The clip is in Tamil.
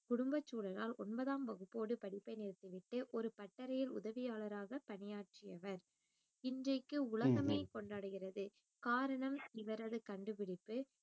குடும்பச் சூழலால் ஒன்பதாம் வகுப்போடு படிப்பை நிறுத்திவிட்டு ஒரு பட்டறையில் உதவியாளராக பணியாற்றியவர் இன்றைக்கு உலகமே கொண்டாடுகிறது காரணம் இவரது கண்டுபிடிப்பு